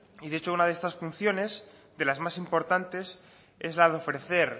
y de hecho una de estas funciones de las más importantes es la de ofrecer